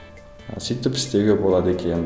сөйтіп істеуге болады екен